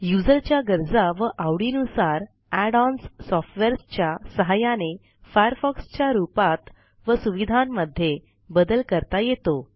युजरच्या गरजा व आवडीनुसार add ओएनएस सॉफ्टवेअर्सच्या सहाय्याने फायरफॉक्स च्या रूपात व सुविधांमध्ये बदल करता येतो